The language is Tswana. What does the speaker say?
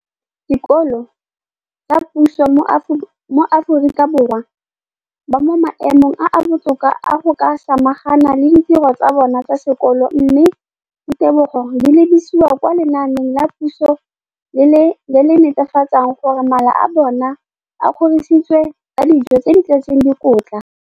Dikolo tsa puso mo Aforika Borwa ba mo maemong a a botoka a go ka samagana le ditiro tsa bona tsa sekolo, mme ditebogo di lebisiwa kwa lenaaneng la puso le le netefatsang gore mala a bona a kgorisitswe ka dijo tse di tletseng dikotla.